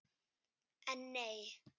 En nei!